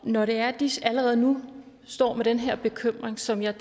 når det er at de allerede nu står med den her bekymring som jeg